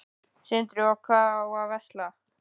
Sindri: Og hvað á að versla?